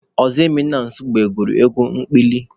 Ozoemena Nsugbe gụrụ egwu ekpili.